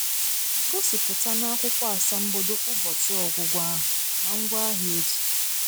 Gosipụta n’akwụkwọ asambodo ụbọchị ọgwụgwọ ahụ na ngwaahịa eji.